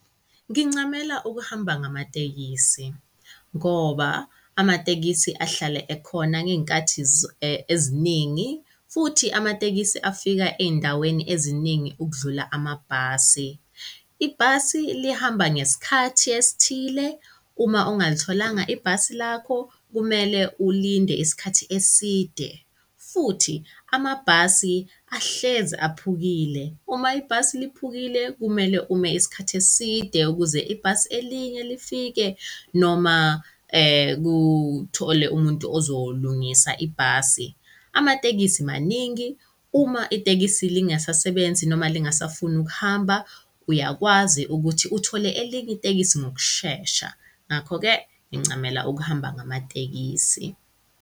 Ngincamela ukuhamba ngamatekisi ngoba amatekisi ahlale ekhona ngey'nkathi eziningi, futhi amatekisi afika ey'ndaweni eziningi ukudlula amabhasi. Ibhasi lihamba ngesikhathi esithile. Uma ungalitholanga ibhasi lakho, kumele ulinde isikhathi eside, futhi amabhasi ahlezi aphukile. Uma ibhasi liphukile, kumele ume isikhathi eside ukuze ibhasi elinye lifike noma kuthole umuntu ozolungisa ibhasi. Amatekisi maningi uma itekisi lingasasebenzi noma lingasafuni ukuhamba, uyakwazi ukuthi uthole elinye itekisi ngokushesha, ngakho-ke ngincamela ukuhamba ngamatekisi.